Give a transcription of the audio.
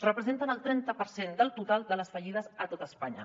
representen el trenta per cent del total de les fallides a tot espanya